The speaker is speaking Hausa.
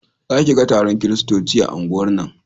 Za ki ga taron kiristoci a unguwar nan